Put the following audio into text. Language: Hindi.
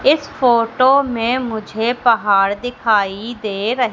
इस फोटो में मुझे पहाड़ दिखाई दे रही--